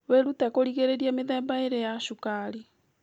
Wĩrute kũrigĩrĩrĩria mĩthemba ĩrĩ ya cukari